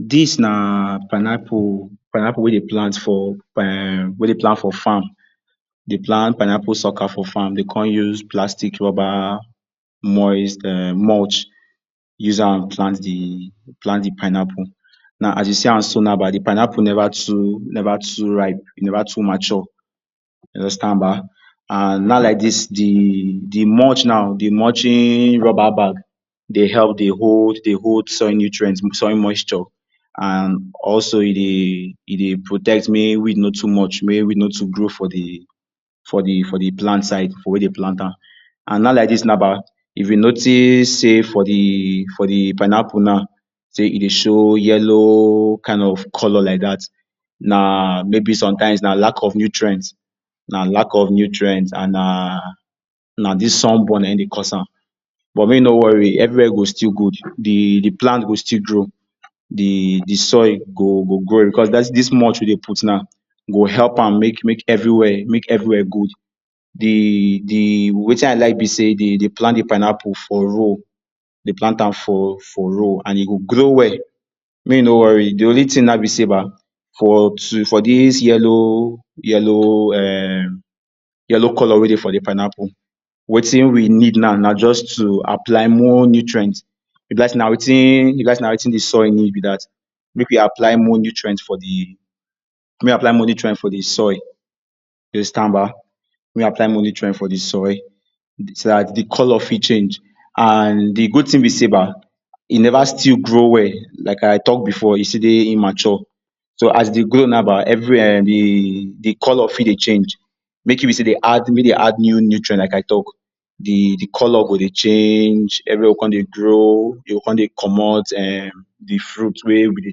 Dis na pineapple pineapple wey dem plant for farm, dey plant pineapple sulker for farm dey con use plastic rubber moist um mulch use am plant de plant de pineapple, now as you see am so now ba de pineapple never too too ripe, never too mature, you understand ba? And now like dis de Mulch de mulching rubber bag dey help hold dey hold soil nutrients with soil moisture, and also e dey e dey protect mey weed no too much mey weed no too grow for de for de plant side for where dey plant am. And now like dis now ba If you notice sey for de for de pineapple now sey e dey show yellow kind of color like dat, na maybe sometimes na lack of nutrients na lack of nutrients and na dis sunburn naim dey cause am, but make you no worry everywhere go still good, deplant go still grow de de soil go go grow because dis mulch wey we dey put now go help make make everywhere make everywhere good. De de Wetin I like be say de dey plant de pineapple for roll dey plant am for for roll and e go grow well mey e no worry de only thing now be sey ba for too For dis yellow yellow[um] yellow color wey dey for de pineapple, wetin we need now na just to apply more nutrients e be like sey na wetin e be like sey na wetin de soil need be dat make we apply more nutrient for de make we apply more nutrient for de soil you understand ba, make we apply more nutrient for de soil, so dat color de color fit change and de good thing be sey ba e never still grow well like I talk before e still dey immature so as dey grow now ba every[um] de de color fit dey change. Make e be sey dey add make dey add nutrient like I talk de de color go dey change, everywhere go con dey grow, e go con dey comot um de fruit wey we dey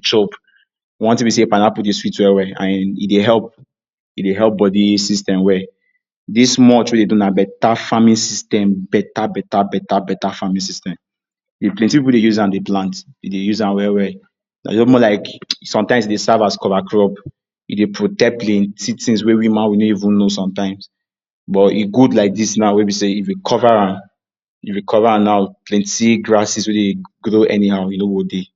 chop. one thing be sey Pineapple dey sweet well well and e dey help e dey help body system well. Dis mulch wey we dey do na better farming system better better better farming system, if plenty people dey use am dey plant dey use am well well, Sometimes e dey serve as cover crop, e dey protect plenty things wey we ma we no even know sometimes. But e good like dis now wey be sey if we cover if we cover am now plenty grasses wey grow anyhow e no go dey.